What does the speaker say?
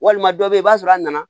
Walima dɔ bɛ yen i b'a sɔrɔ a nana